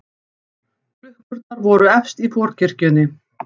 Klukkurnar voru efst í forkirkjunni.